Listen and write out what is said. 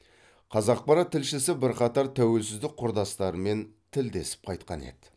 қазақпарат тілшісі бірқатар тәуелсіздік құрдастарымен тілдесіп қайтқан еді